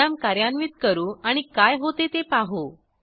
program कार्यान्वित करू आणि काय होते ते पाहू